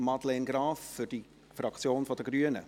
Damit lehnt die Kommissionsmehrheit diesen Antrag ab.